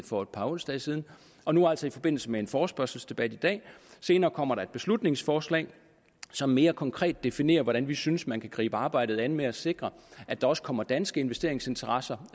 for et par onsdage siden og nu altså i forbindelse med en forespørgselsdebat i dag senere kommer der et beslutningsforslag som mere konkret definerer hvordan vi synes man kan gribe arbejdet an med at sikre at der også kommer danske investeringsinteresser